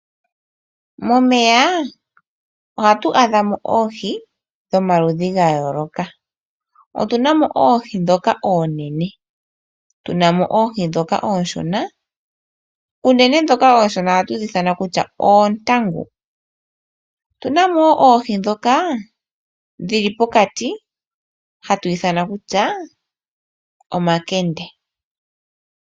Momeya ohatu adha mo oohi dhomaludhi ga yooloka, otu na mo oohi ndhoka oonene, tu na mo oohi ndhoka oonshona. Unene dhoka oonshona ohatu dhi ithana kutya oontangu. Otu na mo oohi ndhoka dhi li pokati hatu dhi ithana kutya omakende.